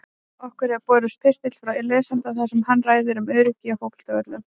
Okkur hefur borist pistill frá lesanda þar sem hann ræðir um öryggi á fótboltavöllum.